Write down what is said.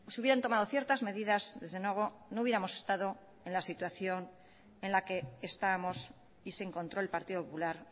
hubieran tomado ciertas medidas desde luego no hubiéramos estado en la situación en la que estamos y se encontró el partido popular